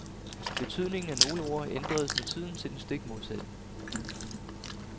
Betydningen af nogle ord ændredes med tiden til den stik modsatte.